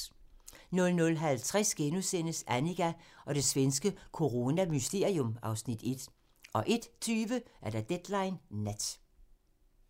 00:50: Annika og det svenske coronamysterium (Afs. 1)* 01:20: Deadline Nat